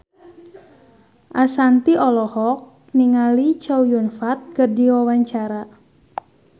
Ashanti olohok ningali Chow Yun Fat keur diwawancara